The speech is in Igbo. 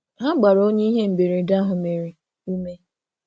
Ha gbara onye ihe mberede ahụ mere, ume.